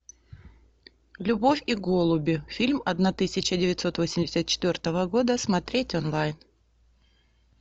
любовь и голуби фильм одна тысяча девятьсот восемьдесят четвертого года смотреть онлайн